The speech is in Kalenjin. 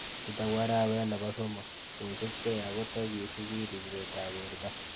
Nitok ko arawet nebo somok kosubkei akotakisubi ripsetab borto